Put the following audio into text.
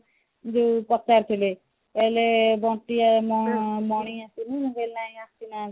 ଯୋଉ ପଚାରୁ ଥିଲେ କହିଲେ ବଣ୍ଟି ଆଉ ମ ମଣି ଆସିନି ମୁଁ କହିଲି ନାଇଁ ଆସି ନାହାନ୍ତି